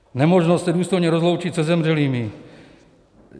Nemožnost se důstojně rozloučit se zemřelými.